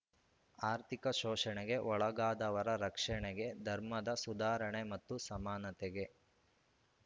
ಆರ್ಥಿಕ ಶೋಷಣೆಗೆ ಒಳಗಾದವರ ರಕ್ಷಣೆಗೆ ಧರ್ಮದ ಸುಧಾರಣೆ ಮತ್ತು ಸಮಾನತೆಗೆ